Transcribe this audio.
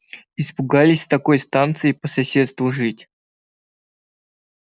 испугались с такой станцией по соседству жить